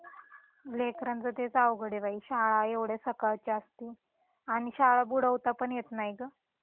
हम्म, लेकरांच तेच अवघड आहे बाई शाळा एव्हडया सकाळची असती आणि शाळा बुडवता पण येत नाही गं